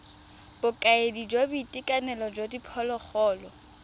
bokaedi jwa boitekanelo jwa diphologolo